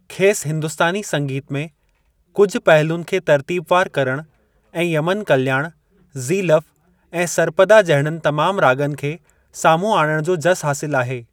खेसि हिंदुस्तानी संगीत में कुझु पहलुनि खे तर्तीबवारु करणु ऐं यमन कल्याण, ज़ीलफ़ ऐं सर्पदा जहिड़नि तमामु राॻनि खे साम्हूं आणण जो जसु हासिलु आहे।